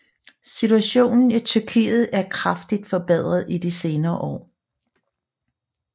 Situationen i Tyrkiet er kraftig forbedret i de senere år